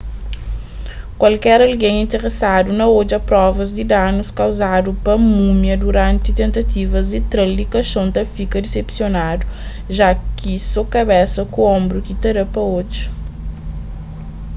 kualker algen interesadu na odja provas di danus kauzadu pa múmia duranti tentativas di tra-l di kaxon ta fika disepsionadu ja ki so kabesa ku onbru ki ta da pa odja